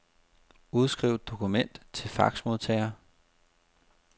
Udskriv dokument til faxmodtager.